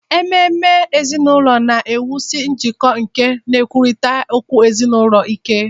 Ememe ezinụlọ na-ewusi njikọ na nkwurịta okwu ezinụlọ ike.